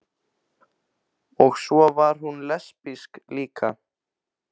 Og svo var hún lesbísk líka.